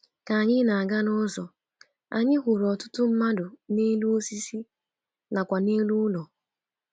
Ka anyị na-aga n'ụzọ, anyị hụrụ ọtụtụ mmadụ n’elu osisi nakwa n’elu ụlọ.